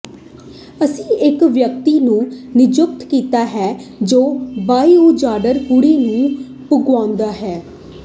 ਅਸੀਂ ਇਕ ਵਿਅਕਤੀ ਨੂੰ ਨਿਯੁਕਤ ਕੀਤਾ ਹੈ ਜੋ ਬਾਇਓਹਾਜ਼ਰਡ ਕੂੜੇ ਨੂੰ ਭੜਕਾਉਂਦਾ ਹੈ